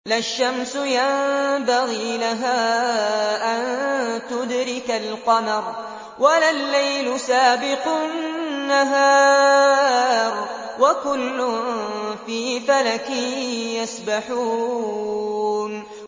لَا الشَّمْسُ يَنبَغِي لَهَا أَن تُدْرِكَ الْقَمَرَ وَلَا اللَّيْلُ سَابِقُ النَّهَارِ ۚ وَكُلٌّ فِي فَلَكٍ يَسْبَحُونَ